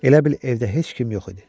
Elə bil evdə heç kim yox idi.